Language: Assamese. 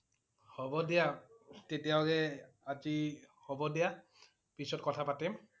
হব দিয়া তেতিয়া হলে আজি হব দিয়া পিছত কথা পাতিম